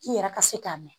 I yɛrɛ ka se k'a mɛn